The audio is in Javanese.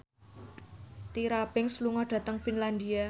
Tyra Banks lunga dhateng Finlandia